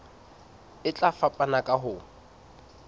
e tla fapana ka ho